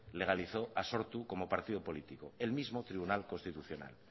legalizó a sortu como partido político el mismo tribunal constitucional